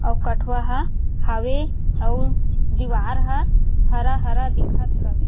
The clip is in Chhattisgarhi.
अऊ कठवा ह हवे अऊ दिवार ह हरा-हरा दिखत हवे।